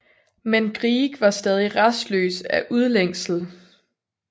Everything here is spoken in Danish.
Men Grieg var stadig rastløs af udlængsel